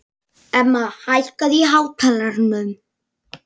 Emma, hækkaðu í hátalaranum.